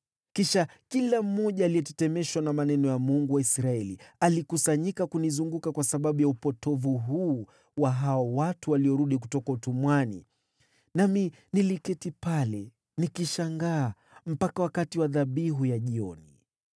Kisha kila mmoja aliyetetemeshwa na maneno ya Mungu wa Israeli alikusanyika kunizunguka kwa sababu ya upotovu huu wa hao watu waliorudi kutoka utumwani. Nami niliketi pale nikishangaa mpaka wakati wa dhabihu ya jioni.